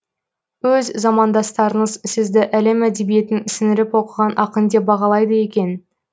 өз замандастарыңыз сізді әлем әдебиетін сіңіріп оқыған ақын деп бағалайды екен